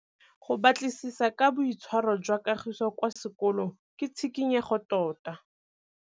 Go batlisisa ka boitshwaro jwa Kagiso kwa sekolong ke tshikinyêgô tota.